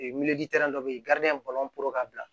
dɔ bɛ yen ka bila